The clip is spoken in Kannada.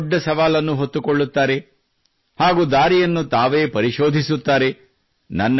ಯಾವುದೇ ದೊಡ್ಡ ಸವಾಲವನ್ನು ಹೊತ್ತುಕೊಳ್ಳುತ್ತಾರೆ ಹಾಗೂ ದಾರಿಯನ್ನು ತಾವೇ ಪರಿಶೋಧಿಸುತ್ತಾರೆ